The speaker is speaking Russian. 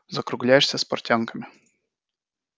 закругляешься с портянками